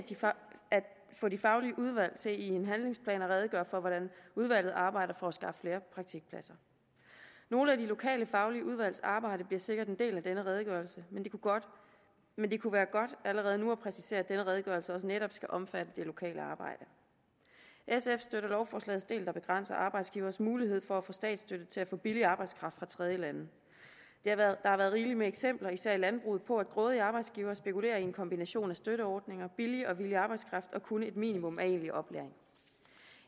få de faglige udvalg til i en handlingsplan at redegøre for hvordan udvalget arbejder for at skaffe flere praktikpladser nogle af de lokale faglige udvalgs arbejde bliver sikkert en del af denne redegørelse men det kunne være godt allerede nu at præcisere at denne redegørelse også netop skal omfatte det lokale arbejde sf støtter lovforslagets del der begrænser arbejdsgiveres mulighed for at få statsstøtte til at få billig arbejdskraft fra tredjelande der har været rigeligt med eksempler især i landbruget på at grådige arbejdsgivere spekulerer i en kombination af støtteordninger billig og villig arbejdskraft og kun et minimum af egentlig oplæring